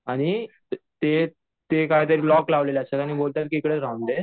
आणि ते ते कायतर लॉक लावलेले असतात आणि बोलतात तिकडेच राहुंदे